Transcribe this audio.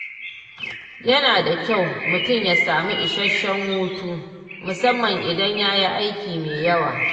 Yana da kyau mutum ya samu isasshen hutu musamman idan yayi aiki mai yawa